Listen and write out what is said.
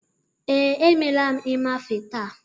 Ee, emela m ịmafe taa.